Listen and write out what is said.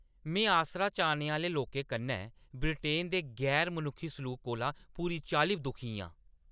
मैं आसरा चाह्‌ने आह्‌ले लोकें कन्नै ब्रिटेन दे गैर-मनुक्खी सलूक कोला पूरी चाल्ली दुखी आं।